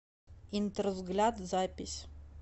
интервзгляд запись